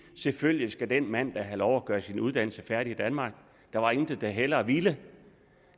selvfølgelig skal den mand da have lov at gøre sin uddannelse færdig i danmark der var intet vi hellere ville